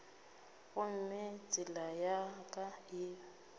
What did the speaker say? gomme tsela ya ka e